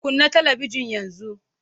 Kunna talabijin yanzu!